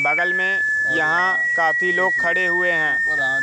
बगल में यहाँ काफी लोग खड़े हुए हैं।